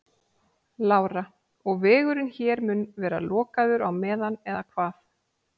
Lára: Og vegurinn hér mun vera lokaður á meðan eða hvað?